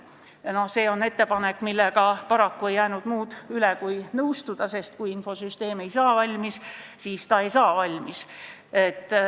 Paraku ei jäänud muud üle kui selle ettepanekuga nõustuda, sest kui infosüsteem ei saa valmis, siis ta ei saa valmis.